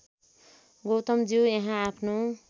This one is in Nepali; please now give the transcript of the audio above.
गौतमज्यू यहाँ आफ्नो